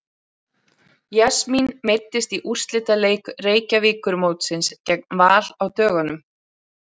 Jasmín meiddist í úrslitaleik Reykjavíkurmótsins gegn Val á dögunum.